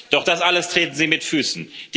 Doch das alles treten sie mit Füßen.